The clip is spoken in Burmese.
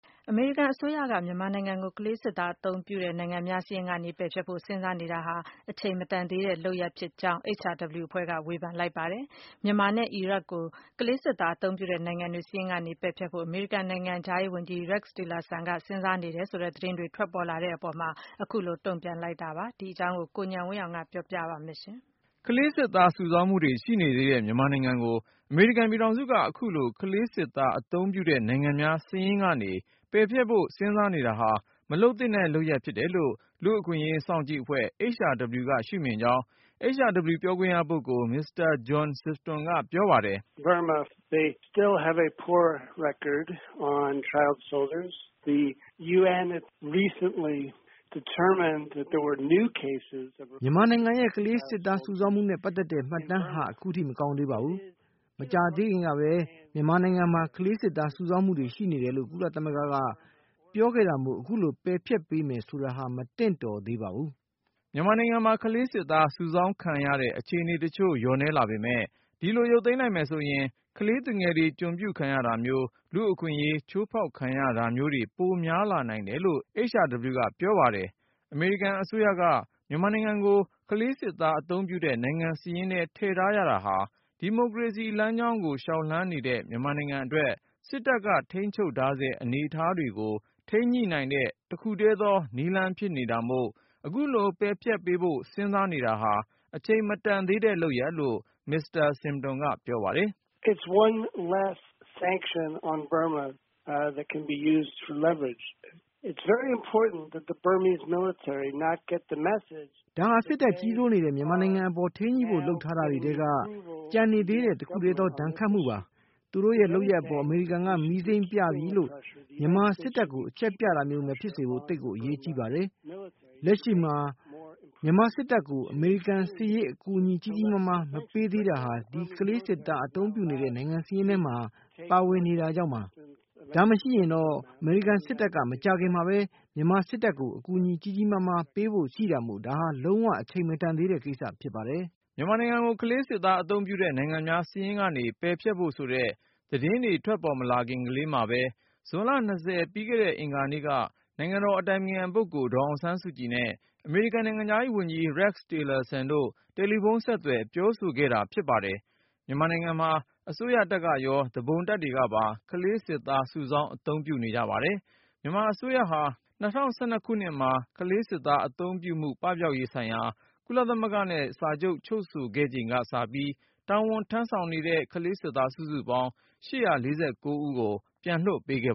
အမေရိကန်အစိုးရက မြန်မာနိုင်ငံကို ကလေးစစ်သားအသုံးပြုတဲ့ နိုင်ငံများစာရင်းကနေ ပယ်ဖျက်ဖို့ စဉ်းစားနေတာဟာ အချိန်မတန်သေးတဲ့ လုပ်ရပ်ဖြစ်ကြောင်း HRW အဖွဲ့က ဝေဖန်လိုက်ပါတယ်။ မြန်မာနဲ့ အီရတ်ကို ကလေးစစ်သား အသုံးပြုတဲ့နိုင်ငံတွေ စာရင်းကနေ ပယ်ဖျက်ဖို့ အမေရိကန် နိုင်ငံခြားရေးဝန်ကြီး Rex Tillerson က စဉ်းစားနေတယ်ဆိုတဲ့ သတင်းတွေ ထွက်ပေါ်လာတဲ့အပေါ် တုန့်ပြန်လိုက်တာ ဖြစ်ပါ တယ်။ ဒီအကြောင်း ကိုဉာဏ်ဝင်းအောင်က တင်ပြမှာပါ။ ကလေးစစ်သား စုဆောင်းမှုတွေ ရှိနေသေးတဲ့ မြန်မာနိုင်ငံကို အမေရိကန်ပြည်ထောင် စုက အခုလို ကလေးစစ်သားအသုံးပြုတဲ့ နိုင်ငံများ စာရင်းကနေ ပယ်ဖျက်ဖို့ စဉ်းစားနေ တာဟာ မလုပ်သင့်တဲ့ လုပ်ရပ်ဖြစ်တယ်လို့ လူ့အခွင့်အရေး စောင့်ကြည့်အဖွဲ့ HRW ကရှုမြင်ကြောင်း HRW ပြောခွင့်ရပုဂ္ဂိုလ် Mr. John Sifton ကပြောပါတယ်။ “ မြန်မာနိုင်ငံရဲ့ ကလေးစစ်သား စုဆောင်းမှုနဲ့ ပတ်သက်တဲ့ မှတ်တမ်းဟာ ခုထိ မကောင်းသေးပါဘူး။ မကြာသေးခင်ကပဲ မြန်မာ နိုင်ငံမှာ ကလေးစစ်သား စုဆောင်း မှုတွေ ရှိနေတယ်လို့ ကုလသမဂ္ဂက ပြောခဲ့တာမို့ အခုလို ပယ်ဖျက်ပေးမယ် ဆိုတာဟာ မသင့်တော်သေး ပါဘူး ” မြန်မာနိုင်ငံမှာ ကလေးစစ်သားစုဆောင်းခံရတဲ့ အခြေအနေတချို့လျော့နည်းလာပေမယ့် ဒီလို ရုပ်သိမ်းလိုက်မယ်ဆိုရင် ကလေးသူငယ်တွေ ကျွန်ပြုခံရတာမျိုး၊ လူ့အခွင့်ရေး အချိုးဖေါက်ခံရတာမျိုးတွေ ပိုများလာနိုင်တယ်လို့ HRW ကပြောပါတယ်။ အမေရိကန် အစိုးရက မြန်မာနိုင်ငံကို ကလေးစစ်သားအသုံးပြုတဲ့ နိုင်ငံစာရင်းထဲ ထည့်ထားရတာဟာ ဒီမိုကရေစီလမ်းကို လျှောက်လှမ်းနေတဲ့ မြန်မာနိုင်ငံအတွက် စစ်တပ်က ထိန်းချုပ်ထားဆဲ အနေအထားကို ထိန်းညှိနိုင်တဲ့ တခုထဲသော နည်းလမ်းဖြစ်နေတာမို့ အခုလို စာရင်းကနေ ပယ်ဖျက်ပေးဖို့ အချိန်မတန် သေးဘူးလို့လည်း Mr. Sifton ကပြော ပါတယ်။ “ ဒါဟာ စစ်တပ်ကြီးစိုးနေတဲ့ မြန်မာနိုင်ငံအပေါ် ထိန်းညှိဖို့ လုပ်ထား တာတွေထဲက ကျန်နေသေးတဲ့ တခုထဲသော ဒဏ်ခတ်မှုပါ။ သူတို့ရဲ့လုပ်ရပ်အပေါ် အမေရိကန်က မီးစိမ်းပြပြီလို့မြန်မာစစ်တပ်ကို အချက်ပြတာမျိုး မဖြစ်စေဖို့ သိပ်ကိုအရေးကြီးပါတယ်။ လက်ရှိမှာ မြန်မာစစ်တပ်ကို အမေရိန်က စစ်ရေးအကူအညီ ကြီးကြီးမားမား မပေးသေး တာဟာ၊ ဒီကလေးစစ်သား အသုံးပြုတဲ့ နိုင်ငံစာရင်းထဲမှာ ပါနေ တာကြောင့်ပါ။ ဒါ မရှိတော့ရင် အမေရိကန်စစ်တပ်က မကြာခင်မှာပဲ မြန်မာစစ်တပ်ကို အကူညီ ကြီးကြီးမားမား ပေးဖို့ရှိတာမို့ ဒါဟာ လုံး၀ အချိန်မတန်သေးတဲ့ ကိစ္စဖြစ်ပါတယ်။” မြန်မာနိုင်ငံကို ကလေးစစ်သားအသုံးပြုတဲ့ နိုင်ငံများ စာရင်းကနေ ပယ်ဖျက်ဖို့ဆိုတဲ့ သတင်းတွေထွက်ပေါ် မလာခင်လေးမှာပဲ ဇွန်လ ပြီးခဲ့တဲ့ အင်္ဂါနေ့က နိုင်ငံတော်၏ အတိုင်ပင်ခံပုဂ္ဂိုလ် ဒေါ်အောင်ဆန်းစုကြည်နဲ့ အမေရိကန်နိုင်ငံခြားရေးဝန်ကြီး Rex Tillerson တို့ တယ်လီဖုန်း ဆက်သွယ် ပြောဆိုခဲ့တာဖြစ်ပါတယ်။ မြန်မာနိုင်ငံမှာ အစိုးရတပ်ကရော သူပုန်တပ်တွေကပါ ကလေးစစ်သား စုဆောင်း အသုံးပြုနေကြပါတယ်။ မြန်မာအစိုးရဟာ ၂၀၁၂ ခုနှစ်မှာ ကလေးစစ်သားအသုံးပြုမှု ပပျောက်ရေးဆိုင်ရာ ကုလသမဂ္ဂနဲ့စာချုပ် ချုပ်ဆိုခဲ့ချိန်ကစပြီး တာဝန်ထမ်းဆောင်နေတဲ့ ကလေးစစ်သား စုစုပေါင်း ၈၄၉ ယောက်ကို ပြန်လွှတ်ပေးခဲ့